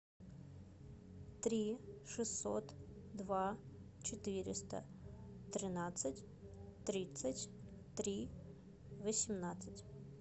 три шестьсот два четыреста тринадцать тридцать три восемнадцать